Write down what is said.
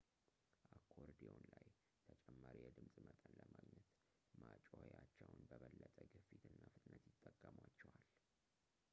አኮርዲዮን ላይ ተጨማሪ የድምፅ መጠን ለማግኘት ማጮኺያዎቹን በበለጠ ግፊት እና ፍጥነት ይጠቀሟቸዋል